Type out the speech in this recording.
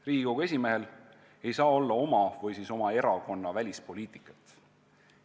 Riigikogu esimehel ei saa olla oma või oma erakonna välispoliitikat.